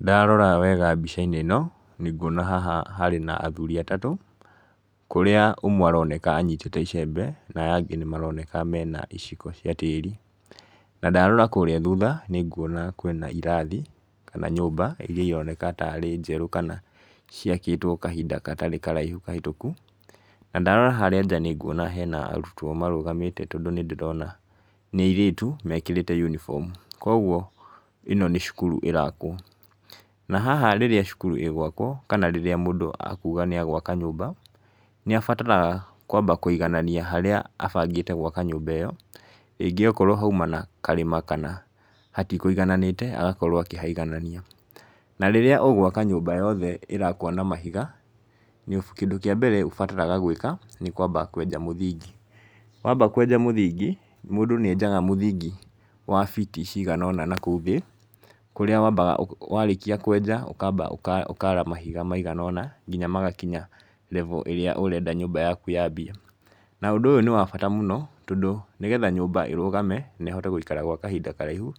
Ndarora wega mbica-inĩ ĩno, nĩ nguona haha harĩ na athuri atatũ, kũrĩa ũmwe aroneka anyitĩte icembe na aya angĩ maroneka mena iciko cia tĩri , na ndarora kũrĩa thutha nĩ nguona kwĩna irathi kana nyũmba iria ironeka tarĩ njerũ kana ciakĩtwo kahinda gatarĩ karaihu kahĩtũku, na ndarora harĩa nja nĩ nguona hena arutwo marũgamĩte, tondũ nĩ ndĩrona nĩ airĩtu mekĩrĩte unifomu, kũgwo ĩno nĩ cukuru ĩrakwo, na haha rĩrĩa cukuru ĩgwakwo kana rĩrĩa mũndũ akuuga nĩ agwaka nyũmba, nĩ abataraga kwamba kũiganania harĩa abangĩte gwaka nyũmba ĩyo, rĩngĩ okorwo hauma na karĩma hatikũigananĩte agakorwo akĩhaiganania, na rĩrĩa ũgwaka nyũmba yothe ĩrakwo na mahiga, kĩndũ kĩa mbere ũbataraga gwĩka nĩ kwamba kweja mũthingi, wamba kweja mũthingi mũndũ nĩ enjaga mũthingi wa biti ciganona na kũu thĩ, kũrĩa wambaga warĩkia kwenja ũkara mahiga maiganona na nginya magakinya level ĩrĩa ũrenda nyũmba yaku yambie, na ũndũ ũyũ nĩ wa bata mũno, tondũ nĩgetha nyũmba ĩrũgame na ĩhote gũikara gwa kahinda karaihu,